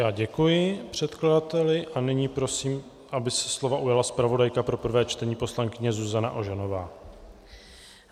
Já děkuji předkladateli a nyní prosím, aby se slova ujala zpravodajka pro prvé čtení poslankyně Zuzana Ožanová.